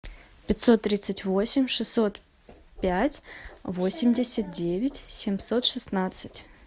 пятьсот тридцать восемь шестьсот пять восемьдесят девять семьсот шестнадцать